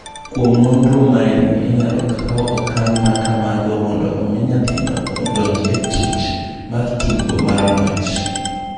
Kuom nonro maeni inyalo kawo okang’ ma kamago mondo omi nyathino odonj e tich mar tugo mar ng’wech.